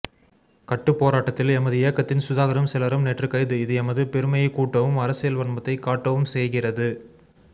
கட்டுப் போராட்டத்தில் எமதியக்கத்தின் சுதாகரும் சிலரும் நேற்று கைது இது எமது பெருமையைக் கூட்டவும் அரசியல் வன்மத்தைக் காட்டவும் செய்கிறது